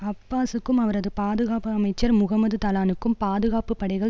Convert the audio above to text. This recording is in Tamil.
அப்பாஸூக்கும் அவரது பாதுகாப்பு அமைச்சர் முகமது தலானுக்கும் பாதுகாப்பு படைகள்